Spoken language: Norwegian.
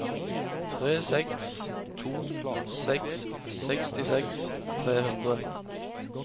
tre seks to seks sekstiseks tre hundre